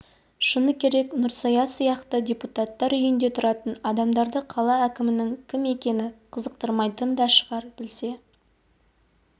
шыны керек нұрсая сияқты депутаттар үйінде тұратын адамдарды қала әкімінің кім екені қызықтырмайтын да шығар білсе